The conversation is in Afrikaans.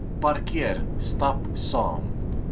parkeer stap saam